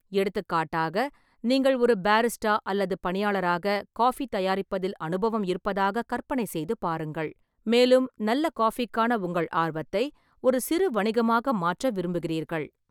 எடுத்துக்காட்டாக, நீங்கள் ஒரு பாரிஸ்டா அல்லது பணியாளராக ஃகாபி தயாரிப்பதில் அனுபவம் இருப்பதாக கற்பனை செய்து பாருங்கள், மேலும் நல்ல ஃகாபிக்கான உங்கள் ஆர்வத்தை ஒரு சிறு வணிகமாக மாற்ற விரும்புகிறீர்கள்.